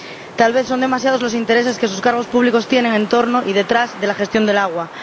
Tal vez son demasiados los intereses que sus cargos públicos tienen en torno y detrás de la gestión del agua.